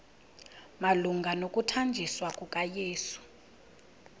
malunga nokuthanjiswa kukayesu